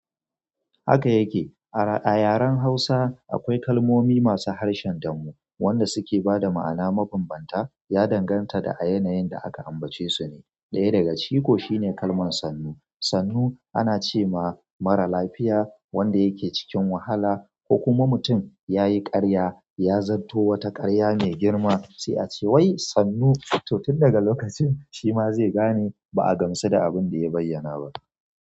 Haka yake. A yaren hausa akwai kalmomi masu harshen damo wanda suke bada ma'ana mabambanta ya danganta da a yanayin da aka ambace su ne. Ɗaya daga ciki ko shine kalman sannu. Sannu ana ce ma mara lafiya wanda yake cikin wahala ko kuma mutum yayi karya, ya zarto wata karya mai girma sai a ce wai sannu! Toh tun daga lokacin shi ma zai gane ba'a gamsu da abun da bayyana ba.